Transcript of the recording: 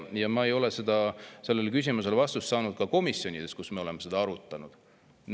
Ma ei ole sellele küsimusele vastust saanud ka komisjonides, kui me oleme seda arutanud.